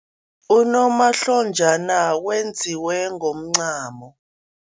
Unomahlonjana wenziwe ngomncamo.